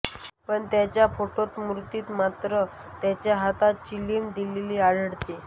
पण त्यांच्या फोटोतमूर्तीत मात्र त्यांच्या हातात चिलीम दिलेली आढळते